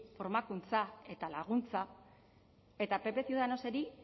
formakuntza eta laguntza eta pp ciudadanosi